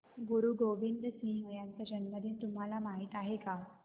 गुरु गोविंद सिंह यांचा जन्मदिन तुम्हाला माहित आहे